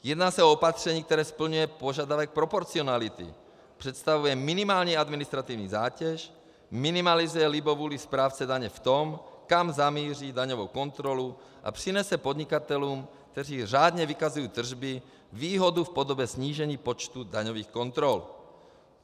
Jedná se o opatření, které splňuje požadavek proporcionality, představuje minimální administrativní zátěž, minimalizuje libovůli správce daně v tom, kam zamíří daňovou kontrolu, a přinese podnikatelům, kteří řádně vykazují tržby, výhodu v podobě snížení počtu daňových kontrol.